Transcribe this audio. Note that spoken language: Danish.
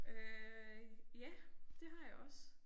Øh ja det har jeg også